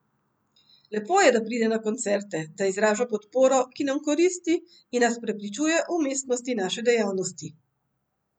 Lepo je, da pride na koncerte, da izraža podporo, ki nam koristi, in nas prepričuje o umestnosti naše dejavnosti.